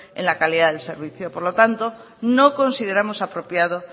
en la calidad del servicio por lo tanto no consideramos apropiado